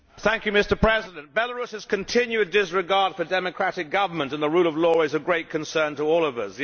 Mr President, Belarus's continued disregard for democratic government and the rule of law is of great concern to all of us.